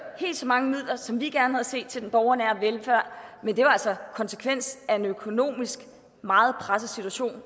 helt så mange midler som vi gerne havde set til den borgernære velfærd men det var altså konsekvens af en økonomisk meget presset situation